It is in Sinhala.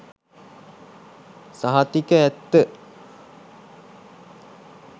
සහතික ඇත්ත.